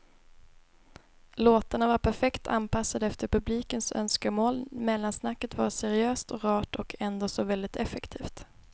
Låtarna var perfekt anpassade efter publikens önskemål, mellansnacket var seriöst och rart och ändå så väldigt effektivt.